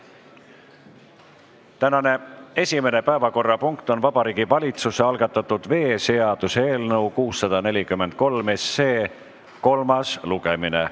Tänane esimene päevakorrapunkt on Vabariigi Valitsuse algatatud veeseaduse eelnõu 643 kolmas lugemine.